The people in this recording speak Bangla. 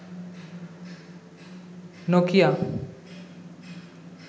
নকিয়া